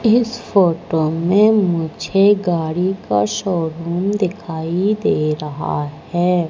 इस फोटो में मुझे गाड़ी का शोरूम दिखाई दे रहा है।